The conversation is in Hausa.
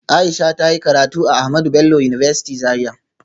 Aisha ta yi karatu a Ahmadu Bello University Zaria